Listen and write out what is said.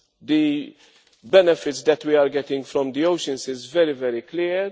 The benefits that we are getting from the oceans are very clear.